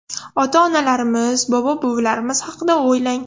Ota-onalarimiz, bobo-buvilarimiz haqida o‘ylang.